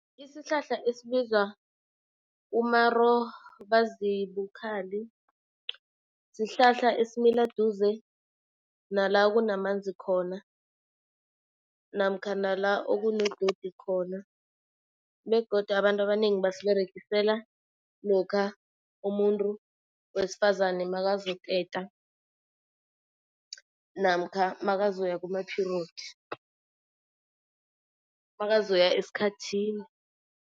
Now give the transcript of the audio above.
Isihlahla esibizwa umarobazibukhali sihlahla esimila duze nala kunamanzi khona namkha nala okunedodi khona. Begodu abantu abanengi basiberegisela lokha umuntu wesifazane makazoteta namkha makazoya kuma-period makazoya esikhathini.